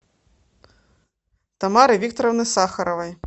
тамары викторовны сахаровой